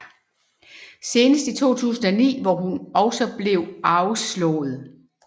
Senest i 2009 hvor hun også blev afslået